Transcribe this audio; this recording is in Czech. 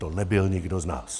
To nebyl nikdo z nás.